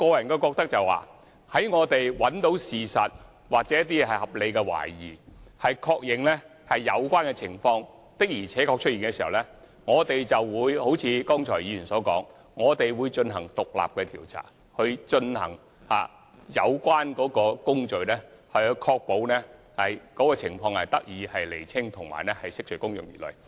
我個人認為，在我們找尋真相期間，若有一些合理懷疑，繼而確認有關情況確實存在時，我們便會如議員剛才所說般進行獨立調查，展開有關工序，確保情況得以釐清及釋除公眾疑慮。